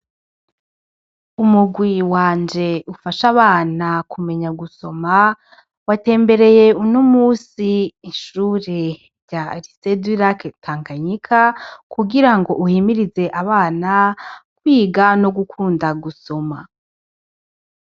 Umugwi wanje ufasha abana kumenya gusoma, watembereye uni umusi ishure rya arisedwilake tankanyika kugira ngo uhimirize abana kwiga no gukunda gusoma.